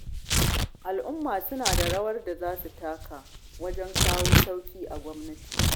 Al'umma suna da rawar da za su taka wajen kawo sauyi a gwamnati